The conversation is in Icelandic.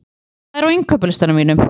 Hera, hvað er á innkaupalistanum mínum?